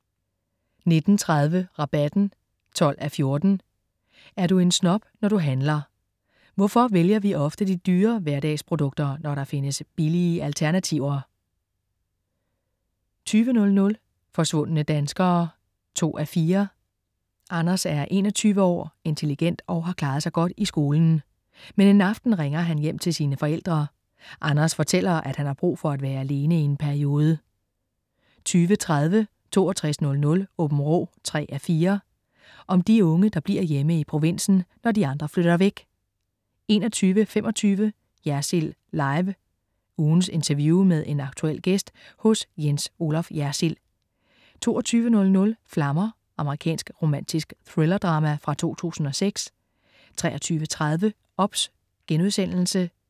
19.30 Rabatten 12:14. Er du en snob, når du handler? Hvorfor vælger vi ofte de dyre hverdagsprodukter, når der findes billige alternative 20.00 Forsvundne danskere 2:4 Anders er 21 år, intelligent og har klaret sig godt i skolen. Men en aften ringer han hjem til sine forældre. Anders fortæller, at han har brug for at være alene i en periode 20.30 6200 Aabenraa 3:4. Om de unge, der bliver hjemme i provinsen, når de andre flytter væk 21.25 Jersild Live. Ugens interview med en aktuel gæst hos Jens Olaf Jersild 22.00 Flammer. Amerikansk romantisk thrillerdrama fra 2006 23.30 OBS*